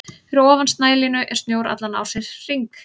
Fyrir ofan snælínu er snjór allan ársins hring.